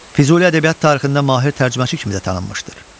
Füzuli ədəbiyyat tarixində mahir tərcüməçi kimi də tanınmışdır.